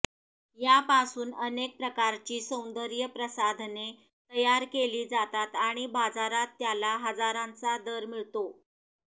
यापासून अनेक प्रकारची सौंदर्य प्रसाधने तयार केली जातात आणि बाजारात त्याला हजारांचा दर मिळतो